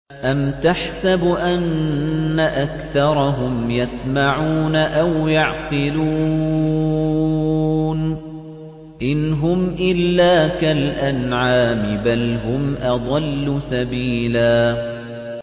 أَمْ تَحْسَبُ أَنَّ أَكْثَرَهُمْ يَسْمَعُونَ أَوْ يَعْقِلُونَ ۚ إِنْ هُمْ إِلَّا كَالْأَنْعَامِ ۖ بَلْ هُمْ أَضَلُّ سَبِيلًا